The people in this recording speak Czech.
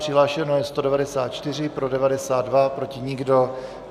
Přihlášeno je 194, pro 92, proti nikdo.